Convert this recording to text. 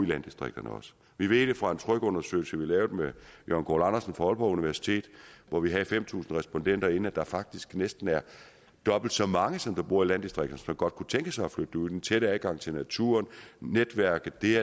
landdistrikterne også vi ved fra en tryg undersøgelse vi lavede med jørgen goul andersen fra aalborg universitet hvor vi havde fem tusind respondenter inde at der faktisk næsten er dobbelt så mange som dem der bor i landdistrikterne som godt kunne tænke sig at flytte derud den tætte adgang til naturen netværket det